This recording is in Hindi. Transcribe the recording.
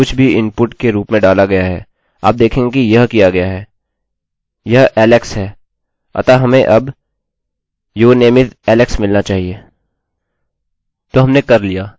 तो हमने कर लिया हम इसे billy में बदल सकते हैं इस प्रकार आपने देखा कि यह कैसे कार्य करता है